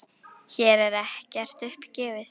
Hér er ekkert upp gefið.